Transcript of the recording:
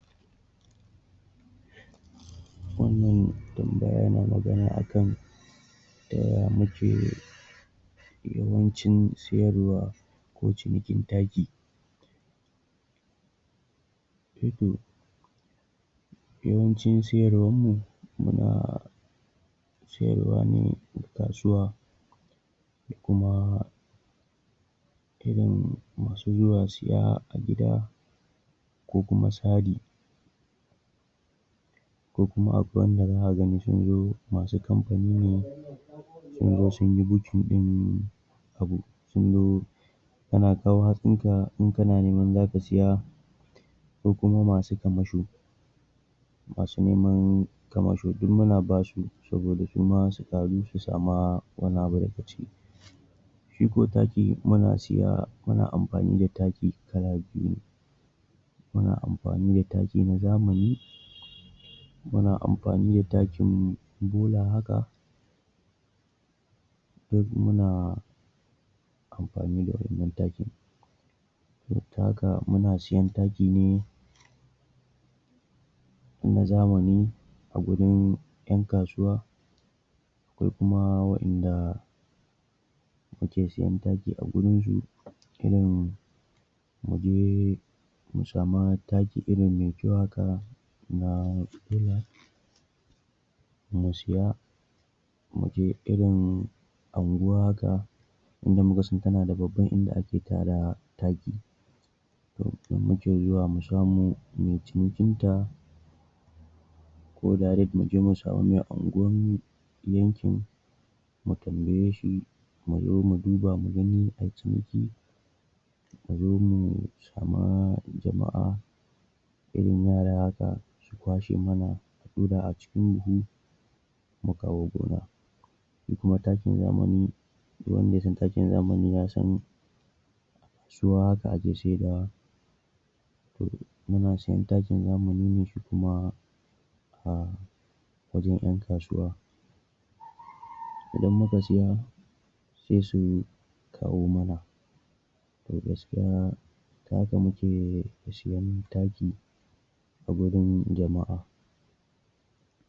Wannan tambaya na magana a kan yaya muke yawancin siyarwa, ko cinikin taki. Eh to, yawancin siyarwan mu, muna sayarwa ne ga kasuwa, sai kuma irin masu zuwa siya a gida, ko kuma sari, ko kuma akwai wanda zaka ga sun zo, masu kamfani ne, sunzo sunyi bukin ɗin abu, sunzo kana kawo hatsin ka, in kana neman zaka saya, ko kuma masu kamasho. Masu neman kamasho, duk muna basu, saboda su ma ƙaru, su sama wani abu daga ciki. Shi ko taki, muna saya, muna amfani da taki kala biyu ne: muna amfani da taki na zamani, muna amfani da takim bola haka, duk muna amfani da wa'innan takin. da haka, muna siyen taki ne na zamani, a gurin yan kasuwa, akwai kuma wa'inda muke siyen taki a wurin su, irin muje mu sama taki irin mai kyau haka, na bola mu siya. Muje irin anguwa haka inda muka san tana da babban inda ake tara taki, to muke zuwa mu samo muyi cinikin ta, ko daret muje mu samu mai anguwan yankin, mu tambaye shi, mu zo mu duba mu gani ai ciniki, a zo mu sama jama'a, irin yara haka, su kwashe mana a ɗura a cikin buhu, mu kawo gona. Shi kuma takin zamani, du wanda ya san takin zamani, ya san su haka ake saidawa, to, muna siyen takin zamani ne shi kuma a wajen ƴan kasuwa. Idan muka siya, sai su kawo mana. To, gaskiya ta haka muke siyen taki, a gurin jama'a.